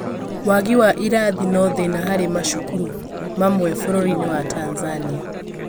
waagi wa irathi no thĩna harĩ macukuru mamwe bũrũrinĩ wa Tanzania